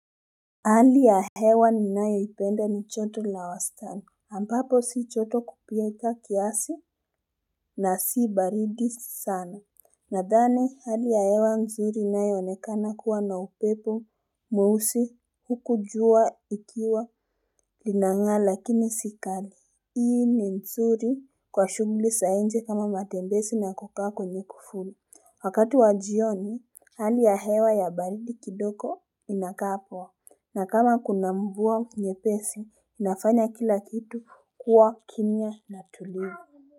Hali ya hewa ninayo ipenda ni joto la wastani ambapo si joto kupita kiasi na si baridi sana nadhani hali ya hewa nzuri inayo onekana kuwa na upepo mweusi huku jua likiwa linanga lakini si kali hii ni nzuri kwa shughuli za nje kama matembezi na kukaa kwenye kifuli wakati wa jioni hali ya hewa ya baridi kidogo inakaa poa na kama kuna mvua nyepesi, inafanya kila kitu kuwa kimya na tulivu.